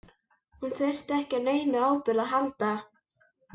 Hún þurfti ekki á neinum áburði að halda.